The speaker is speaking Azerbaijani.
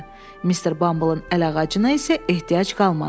Mister Bumbleın əlağacına isə ehtiyac qalmadı.